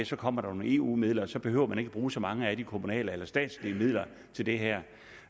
så kommer der nogle eu midler og så behøver man ikke at bruge så mange af de kommunale eller statslige midler til det her